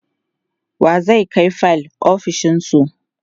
wa zai Kai fayil ofishinsu?